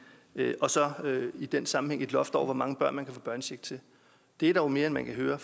og så i den sammenhæng også et loft over hvor mange børn man kan få børnecheck til det er dog mere end man kan høre